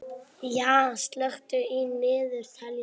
Ýja, slökktu á niðurteljaranum.